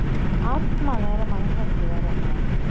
ஆத்மா வேற மனசாட்சி வேறக்கா